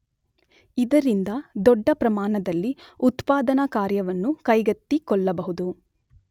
ಇದರಿಂದ ದೊಡ್ಡ ಪ್ರಮಾಣದಲ್ಲಿ ಉತ್ಪಾದನಾ ಕಾರ್ಯವನ್ನು ಕೈಗೆತ್ತಿಕೊಳ್ಳಬಹುದು.